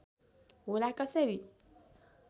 होला कसरी